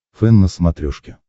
фэн на смотрешке